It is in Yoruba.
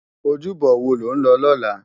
Ójúbò wó ló n lò lòlá?